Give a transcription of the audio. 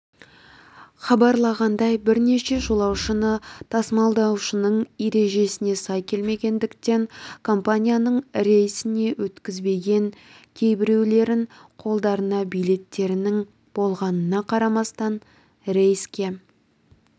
хабарлағандай бірнеше жолаушыны тасымалдаушының ережесіне сай келмегендіктен компанияның рейсіне өткізбеген кейбіреулерін қолдарында билеттерінің болғанына қарамастан рейске